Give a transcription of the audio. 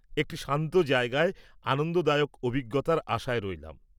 একটি শান্ত জায়গায় আনন্দদায়ক অভিজ্ঞতার আশায় রইলাম।